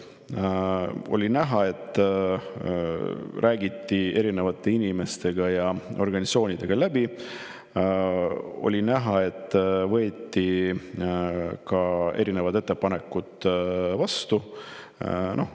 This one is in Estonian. Nüüd oli näha, et räägiti erinevate inimestega ja organisatsioonidega läbi, ka on näha, et võeti erinevaid ettepanekuid vastu.